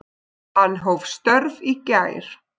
Hann hóf störf í gær.